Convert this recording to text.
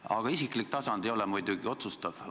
Aga isiklik tasand ei ole muidugi otsustav.